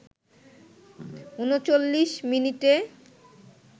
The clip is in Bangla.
৩৯ মিনিটে